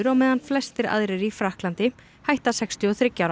meðan flestir aðrir í Frakklandi hætta sextíu og þriggja ára